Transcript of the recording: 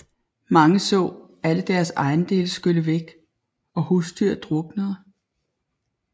Mange så alle deres ejendele skylle væk og husdyr druknede